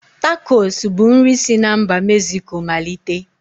Takos bu nri si n'mba Mezico malite